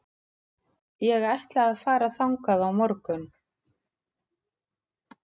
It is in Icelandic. Ég ætla að fara þangað á morgun.